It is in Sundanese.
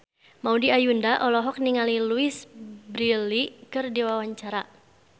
Maudy Ayunda olohok ningali Louise Brealey keur diwawancara